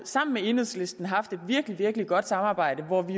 sammen med enhedslisten haft et virkelig virkelig godt samarbejde hvor vi